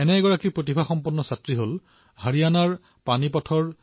এনে এগৰাকী প্ৰতিভাশালী সন্তান হল কৃতিকা নান্দল